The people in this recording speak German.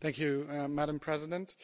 Frau Präsidentin!